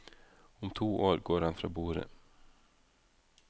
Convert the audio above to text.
Om to år går han fra borde.